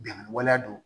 Bɛnkan waleya do